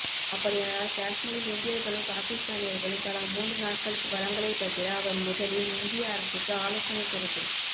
அப்படியானால் காஷ்மீரில் இந்தியர்களும் பாகிஸ்தானியர்களும் தலா மூன்று நாட்களுக்கு வளங்களை பகிர அவர் முதலில் இந்திய அரசுக்கு ஆலோசனை கூறட்டும்